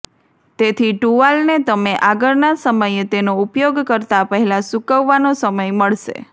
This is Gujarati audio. તેથી ટુવાલને તમે આગળના સમયે તેનો ઉપયોગ કરતા પહેલાં સૂકવવાનો સમય મળશે